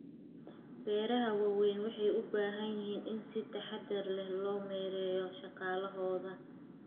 Beeraha waaweyni waxay u baahan yihiin in si taxadar leh loo maareeyo shaqaalahooda.